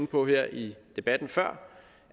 på her i debatten før